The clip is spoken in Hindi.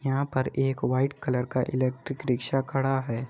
यहां पर एक वाइट कलर का इलेक्ट्रिक रिक्शा खड़ा है।